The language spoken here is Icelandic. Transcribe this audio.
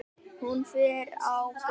Hún fer á böll!